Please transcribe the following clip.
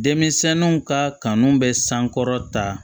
Denmisɛnninw ka kanu bɛ sankɔrɔ ta